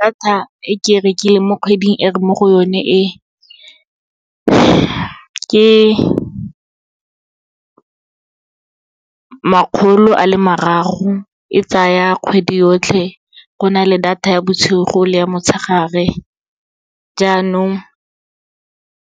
Data e ke e rekileng mo kgweding e re mo go yone e, ke makgolo a le marago, e tsaya kgwedi yotlhe. Go na le data ya bosigo le motshegare, jaanong